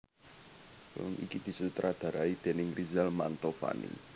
Film iki disutradharai déning Rizal Mantovani